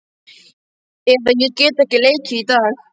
Eða Ég get ekki leikið í dag.